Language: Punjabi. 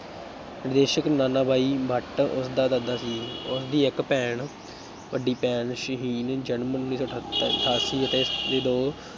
ਨਿਰਦੇਸ਼ਕ ਨਾਨਾਭਾਈ ਭੱਟ ਉਸਦਾ ਦਾਦਾ ਸੀ, ਉਸ ਦੀ ਇੱਕ ਭੈਣ ਵੱਡੀ ਭੈਣ, ਸ਼ਹੀਨ ਜਨਮ ਉੱਨੀ ਸੌ ਅਠੱਤਰ ਅਠਾਸੀ ਅਤੇ ਦੋ